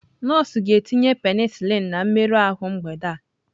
Nọọsụ ga-etinye penicillin na mmerụ ahụ mgbede a.